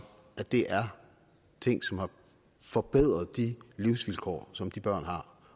er ting som har forbedret de livsvilkår som de børn har